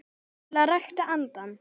til að rækta andann